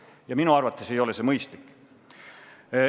Ja minu arvates ei ole see mõistlik.